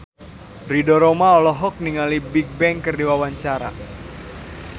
Ridho Roma olohok ningali Bigbang keur diwawancara